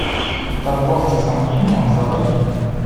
торговцы сомнением заводи